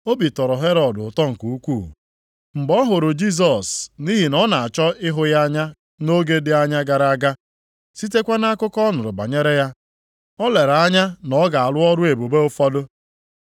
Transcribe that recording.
Obi tọrọ Herọd ụtọ nke ukwuu, mgbe ọ hụrụ Jisọs nʼihi na ọ nọ na-achọ ịhụ ya anya nʼoge dị anya gara aga. Sitekwa nʼakụkọ ọ nụrụ banyere ya, o lere anya na ọ ga-arụ ọrụ ebube ụfọdụ.